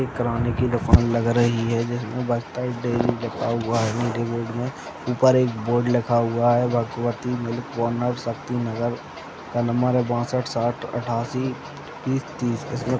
एक किराने की दुकान लग रही है जिसमें बस्तर डेरी लिखा हुआ है में ऊपर एक बोर्ड लिखा हुआ है भगवती मिल्क कॉर्नर शक्तिनगर का नंबर है बासठ साठ आठासी बीस तीस। इसका --